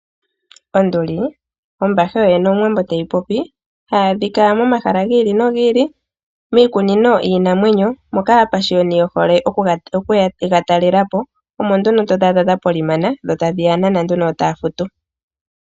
Onduli Ombathe yoyene Omuwambo teyi popi, ohayi adhika momahala giili nogiili miikununo yiinanwenyo. Moka aapashioni yehole okuya yedhi talelepo. Omo nduno hadhi kala dhapolimana , dho tadhi ya nana nduno, yo taya futu .